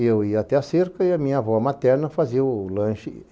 Eu ia até a cerca e a minha avó materna fazia o lanche.